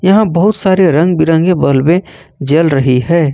यहां बहुत सारे रंग बिरंगे बल्बे जल रही है।